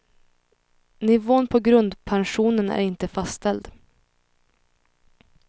Nivån på grundpensionen är inte fastställd.